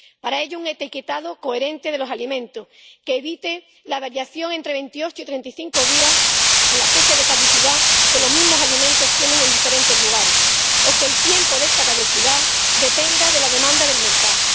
Para ello, necesitamos un etiquetado coherente de los alimentos, que evite la variación entre 28 y 35 días en la fecha de caducidad que los mismos alimentos tienen en diferentes lugares o que el tiempo de esta caducidad dependa de la demanda del mercado.